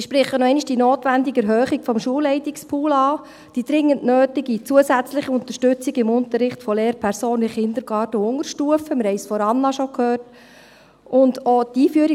Ich spreche nochmals die notwendige Erhöhung des Schulleitungs-Pools an sowie die dringend nötige zusätzliche Unterstützung von Lehrpersonen in Kindergarten und Unterstufe im Unterricht – wir haben schon von Anna-Magdalena Linder davon gehört.